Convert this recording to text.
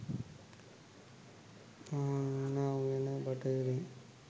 මහමෙවුනා උයනට බටහිරෙන්